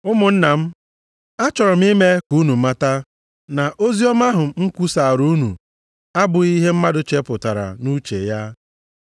Ụmụnna m, achọrọ m ime ka unu mata, na oziọma ahụ m kwusaara unu abụghị ihe mmadụ chepụtara nʼuche ya.